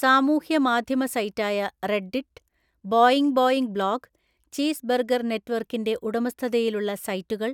സാമൂഹ്യ മാദ്ധ്യമ സൈറ്റായ Reddit, Boing Boing blog, Cheezburger നെറ്റ്‌വർക്കിന്‍റെ ഉടമസ്ഥതയിലുള്ള സൈറ്റുകൾ